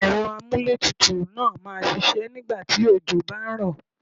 Ẹ̀rọ amúlé tutù náà máa ṣiṣẹ́ nígbà tí òjò bá ń rọ̀.